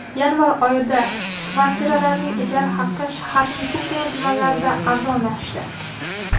Yanvar oyida kvartiralarning ijara haqi shaharning ko‘pgina tumanlarida arzonlashdi.